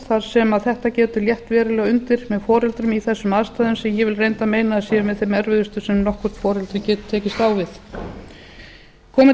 þar sem þetta getur létt verulega undir með foreldrum í þessum aðstæðum sem ég vil reyndar meina að séu með þeim erfiðustu sem nokkuð foreldri getur tekist á við komi